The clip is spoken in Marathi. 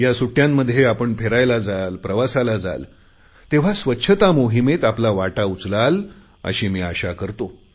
या सुट्टयांमध्ये आपण फिरायला जाल प्रवासाला जाल तेव्हा स्वच्छता मोहिमेत आपला वाटा उचलाल अशी मी आशा करतो